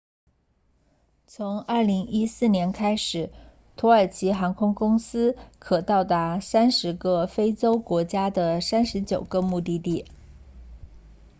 从2014年开始土耳其航空公司可到达30个非洲国家的39个目的地